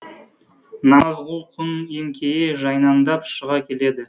намазғұл күн еңкейе жайнаңдап шыға келеді